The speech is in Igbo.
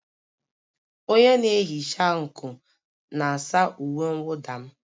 Onye na-ehicha nkụ na-asa uwe mwụda m.